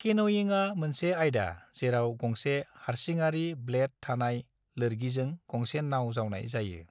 केन'यिङा मोनसे आयदा जेराव गंसे हारसिङारि-ब्लेड थानाय लोरगिजों गंसे नाव जावनाय थायो।